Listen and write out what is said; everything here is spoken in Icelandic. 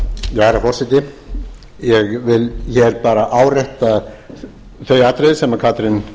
herra forseti ég vil bara árétta þau atriði sem katrín